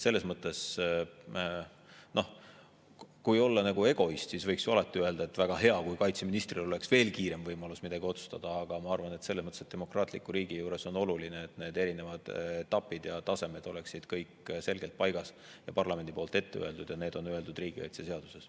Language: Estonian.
Selles mõttes, et kui olla egoist, siis võiks ju alati öelda, et oleks väga hea, kui kaitseministril oleks veel kiirem võimalus midagi otsustada, aga ma arvan, et demokraatlikus riigis on oluline, et need erinevad etapid ja tasemed oleksid kõik selgelt paigas ja parlamendi poolt ette öeldud, ja need on öeldud riigikaitseseaduses.